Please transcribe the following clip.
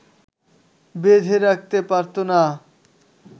বেঁধে রাখতে পারত না